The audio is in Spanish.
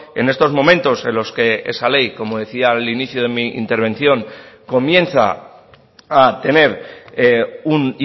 en estos momentos en los que esa ley como decía al inicio de mi intervención comienza a tener un